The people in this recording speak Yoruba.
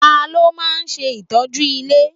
Ta ló máa ń ṣe ìtọ́jú ilé?